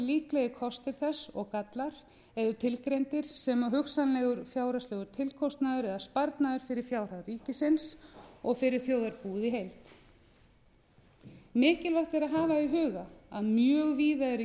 líklegir kostir þess og gallar eru tilgreindir sem og hugsanlegur fjárhagslegur tilkostnaður eða sparnaður fyrir fjárhag ríkisins og fyrir þjóðarbúið í heild mikilvægt er að hafa í huga að mjög víða eru í